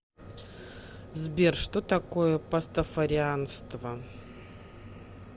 сбер что такое пастафарианство